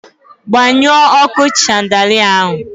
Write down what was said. Gbanyụọ ọkụ shandalịa ahụ!